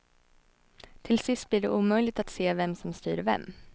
Till sist blir det omöjligt att se vem som styr vem.